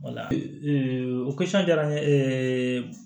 o jara n ye